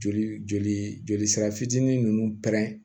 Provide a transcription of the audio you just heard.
Joli joli joli sira fitinin nunnu pɛrɛn